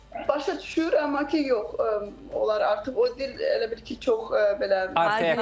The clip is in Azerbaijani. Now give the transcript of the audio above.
Başa düşür, amma ki, yox, onlar artıq o dil elə bil ki, çox belə